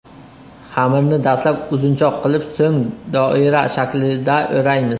Xamirni dastlab uzunchoq qilib, so‘ng doira shaklida o‘raymiz.